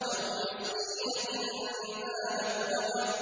أَوْ مِسْكِينًا ذَا مَتْرَبَةٍ